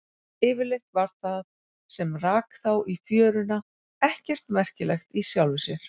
Yfirleitt var það sem rak þá í fjöruna ekkert merkilegt í sjálfu sér.